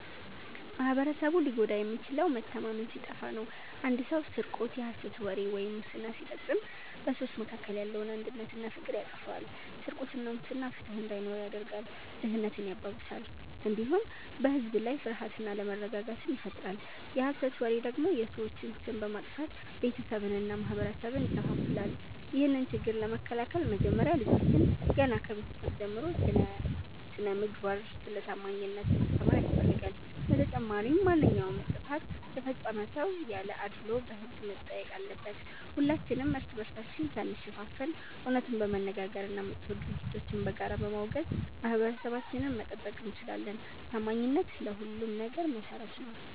ማኅበረሰቡ ሊጎዳ የሚችለው መተማመን ሲጠፋ ነው። አንድ ሰው ስርቆት፣ የሐሰት ወሬ ወይም ሙስና ሲፈጽም በሰዎች መካከል ያለውን አንድነትና ፍቅር ያጠፋዋል። ስርቆትና ሙስና ፍትሕ እንዳይኖር ያደርጋል፣ ድህነትን ያባብሳል፣ እንዲሁም በሕዝብ ላይ ፍርሃትና አለመረጋጋትን ይፈጥራል። የሐሰት ወሬ ደግሞ የሰዎችን ስም በማጥፋት ቤተሰብንና ማኅበረሰብን ይከፋፍላል። ይህንን ችግር ለመከላከል መጀመሪያ ልጆችን ገና ከቤተሰብ ጀምሮ ስለ ስነ-ምግባርና ስለ ታማኝነት ማስተማር ያስፈልጋል። በተጨማሪም ማንኛውም ጥፋት የፈጸመ ሰው ያለ አድልዎ በሕግ መጠየቅ አለበት። ሁላችንም እርስ በርሳችን ሳንሸፋፈን እውነቱን በመነጋገርና መጥፎ ድርጊቶችን በጋራ በማውገዝ ማኅበረሰባችንን መጠበቅ እንችላለን። ታማኝነት ለሁሉም ነገር መሠረት ነው።